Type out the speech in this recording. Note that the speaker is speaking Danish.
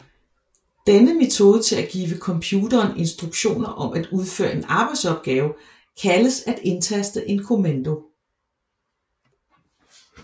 Denne metode til at give computeren instruktioner om at udføre en arbejdsopgave kaldes at indtaste en kommando